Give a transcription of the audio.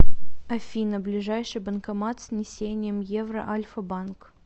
афина ближайший банкомат с внесением евро альфа банк